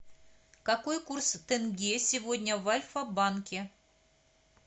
какой курс тенге сегодня в альфа банке